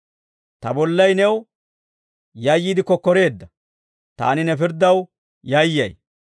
Ta bollay new yayyiide kokkoreedda; taani ne pirddaw yayyay.